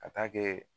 Ka taa kɛ